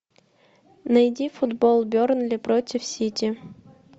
найди футбол бернли против сити